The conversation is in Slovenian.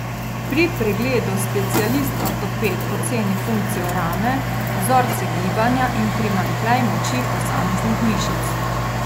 Pri pregledu specialist ortoped oceni funkcijo rame, vzorce gibanja in primanjkljaj moči posameznih mišic.